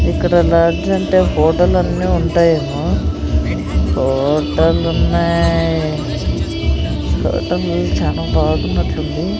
ఇక్కడ లాడ్జి్ అంటే హోటల్ అన్నీ ఉంటాయేమో హోటలున్నాయ్ హోటల్లు చానా బాగున్నట్లుంది.